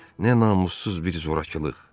Nə namussuz bir zorakılıq!